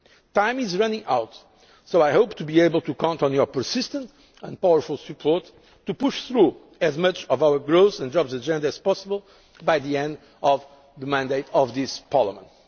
area. Time is running out, so I hope to be able to count on your persistent and powerful support to push through as much of our growth and jobs agenda as possible by the end of the term of this Parliament.